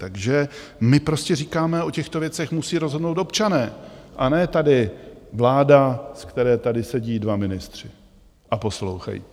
Takže my prostě říkáme, o těchto věcech musí rozhodnout občané, a ne tady vláda, z které tady sedí dva ministři a poslouchají.